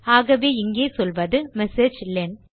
ஆகவே இங்கே சொல்வது மெசேஜிலன்